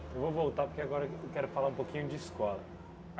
Eu vou voltar porque agora eu quero falar um pouquinho de escola.